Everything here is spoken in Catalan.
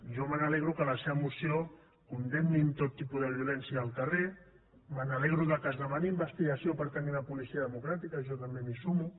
jo me n’alegro que en la seva moció condemnin tot tipus de violència al carrer me n’alegro que es demani investigació per tenir una policia democràtica jo també m’hi sumo